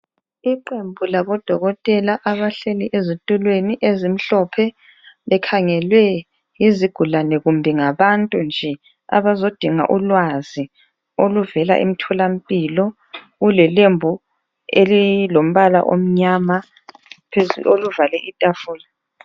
Iqembu labodokotela abahleli ezitulweni ezimhlophe likhangelwe yizigulane kumbe ngabantu nje abazodinga ulwazi oluvela emtholampilo, kule lembu elilombala omnyama elivale itafula.